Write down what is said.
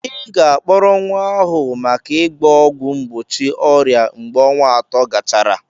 Ị ga-akpọrọ nwa ahụ maka ịgba ọgwụ mgbochi ọrịa mgbe ọnwa atọ gachara.